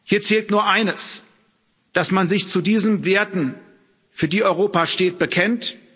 Hier zählt nur eines dass man sich zu diesen Werten, für die Europa steht, bekennt.